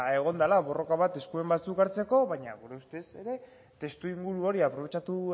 egon dela borroka bat esku batzuk hartzeko baina gure ustez ere testuinguru hori aprobetxatu